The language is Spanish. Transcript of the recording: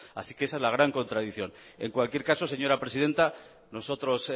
así que esa es la gran contradicción en cualquier caso señora presidenta nosotros